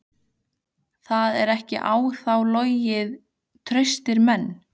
Það er ekki á þá logið: traustir menn.